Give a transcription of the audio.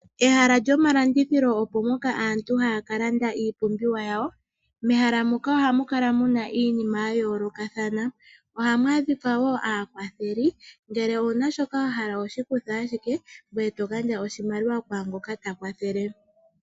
Ehala lyomalanditho opo mpoka aantu haya ka landabiipumbiwa yawo. Mehala moka ohamu kala mu na iinima yayoolokothana. Ohamu adhika aakwatheli nongele ow una shoka wa pumbwa, ohoshi kutha ashike gweye to gandja oshimaliwa kwaangoka ta kwathele.